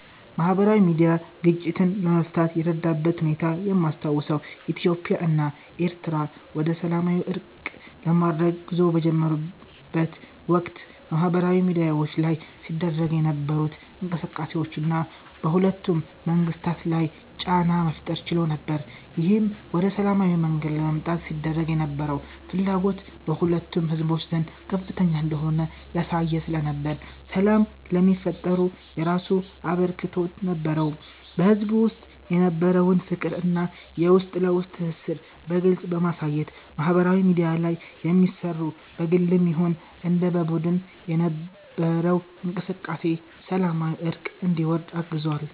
ማህበራዊ ሚድያ ግጭትን ለመፍታት የረዳበትን ሁኔታ የማስታውሰው ኢትዮጵያ እና ኤሪትሪያ ወደሰላማዊ እርቅ ለማድረግ ጉዞ በጀመሩት ወቅት በማህበራዊ ሚድያዎች ላይ ሲደረጉ የነበሩት እንቅስቃሴዎች እና በሁለቱም መንግስታት ላይ ጫና መፍጠር ችሎ ነበር። ይህም ወደ ሰላማዊ መንገድ ለመምጣት ሲደረግ የነበረው ፍላጎት በሁለቱም ህዝቦች ዘንድ ከፍተኛ እንደሆነ ያሳየ ስለነበር ሰላም ለሚፈጠሩ የራሱ አበርክቶት ነበረው። በህዝቡ ውስጥ የነበረውን ፍቅር እና የውስጥ ለውስጥ ትስስርን በግልጽ በማሳየት ማህበራዊ ሚድያ ላይ የሚሰሩ በግልም ይሁን እንደ በቡድን የነበረው እንቅስቃሴ ሰላማዊ እርቅ እንዲወርድ አግዟል።